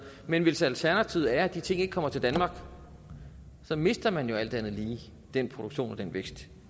men hvis alternativet er at de ting ikke kommer til danmark så mister man jo alt andet lige den produktion og den vækst